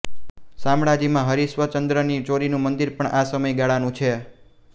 શામળાજી માં હરિશ્ચંદ્રની ચોરીનું મંદિર પણ આ સમયગાળાનું છે